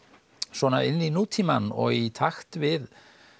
svona inn í nútímann og í takt við